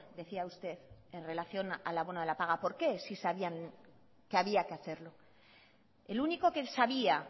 decía usted en relación al abono de la paga por qué si sabían que había que hacerlo el único que sabía